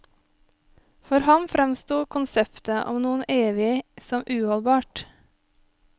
For ham fremsto konseptet om noe evig som uholdbart.